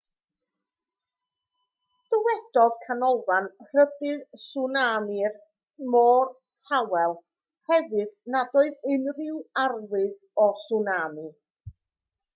dywedodd canolfan rhybudd tswnami'r môr tawel hefyd nad oedd unrhyw arwydd o tswnami